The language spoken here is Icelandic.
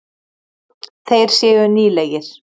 Þeir séu nýlegir.